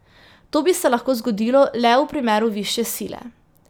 To bi se lahko zgodilo le v primeru višje sile.